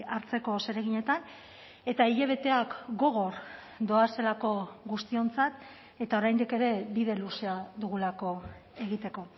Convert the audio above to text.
hartzeko zereginetan eta hilabeteak gogor doazelako guztiontzat eta oraindik ere bide luzea dugulako egiteko